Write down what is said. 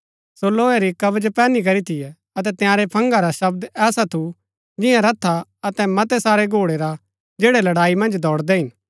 सो लोहे री कवच पैहनी करी थियै अतै तंयारै फंगा रा शब्द ऐसा थू जियां रथा अतै मतै सारै घोड़ै रा जैड़ै लड़ाई मन्ज दौड़दै हिन